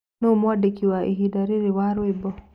Nũũ mwandĩkĩ waĩhĩnda rĩrĩ wa rwĩmbo